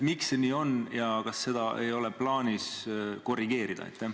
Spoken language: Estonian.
Miks see nii on ja kas seda ei ole plaanis korrigeerida?